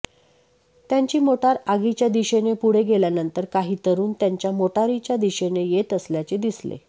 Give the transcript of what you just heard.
त्यांची मोटार आगीच्या दिशेने पुढे गेल्यानंतर काही तरुण त्यांच्या मोटारीच्या दिशेने येत असल्याचे दिसले